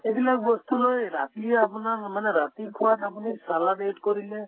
এইবিলাক বস্তুলৈ ৰাতি আপোনাক মানে ৰাতি খোৱাত আপুনি salad add কৰিলে